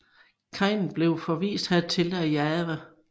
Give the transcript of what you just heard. Kain blev forvist hertil af Jahve